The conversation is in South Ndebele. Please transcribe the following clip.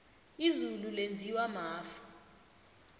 izulu lenziwa mafu